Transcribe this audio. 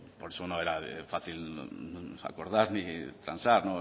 por eso no era fácil acordar ni transar